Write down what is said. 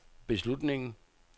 beslutningen